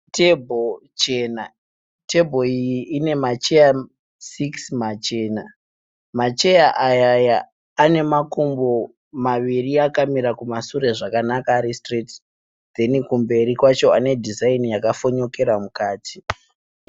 Tebhuru chena, tebhuru iyi ine macheya sikisi machena macheya aya ane makumbo maviri akamira kumasure zvakanaka ari sitireti kozoti kumberi kwacho ane dhizaini yakafonyokera mukati.